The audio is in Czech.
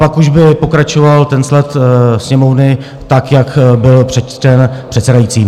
Pak už by pokračoval ten sled Sněmovny tak, jak byl přečten předsedajícím.